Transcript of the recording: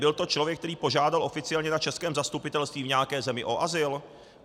Byl to člověk, který požádal oficiálně na českém zastupitelství v nějaké zemi o azyl?